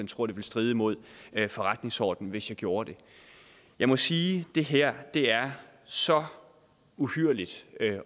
tror det vil stride imod forretningsordenen hvis jeg gjorde det jeg må sige det her er så uhyrligt